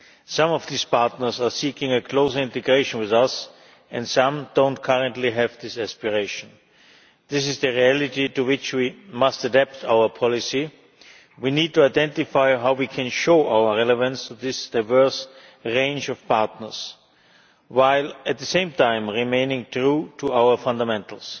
need. Some of these partners are seeking a close integration with us and some do not currently have this aspiration. This is the reality to which we must adapt our policy. We need to identify how we can show our relevance to this diverse range of partners while at the same time remaining true to our fundamentals.